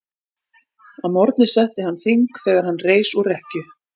Að morgni setti hann þing þegar er hann reis úr rekkju.